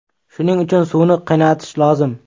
Shuning uchun suvni qaynatish lozim.